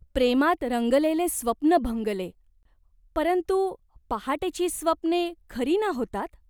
प्रेमात रंगलेले स्वप्न भंगले. परंतु पहाटेची स्वप्ने खरी ना होतात ?